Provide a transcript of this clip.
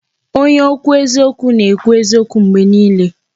Onye okwu eziokwu na ekwu eziokwu mgbe niile